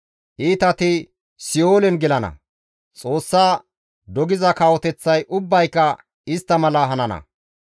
Iitati si7oolen gelana; Xoossa dogiza kawoteththay ubbayka istta mala hanana.